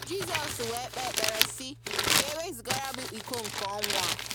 Jizọs wee kpee ekpere sị, “ka e wezugara m iko nke ọnwụ a.